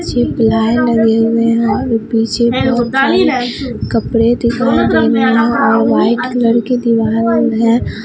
पीछे प्लाई लगे हुए हैं और पीछे बहुत सारे कपड़े दिखाई दे रहे हैं और व्हाइट कलर के दीवाल है।